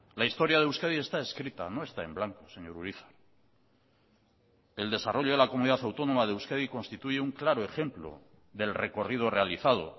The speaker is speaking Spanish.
la historia de euskadi está escrita no está en blanco señor urizar el desarrollo de la comunidad autónoma de euskadi constituye un claro ejemplo del recorrido realizado